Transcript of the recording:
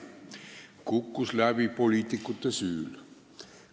Ja kukkus läbi poliitikute süül.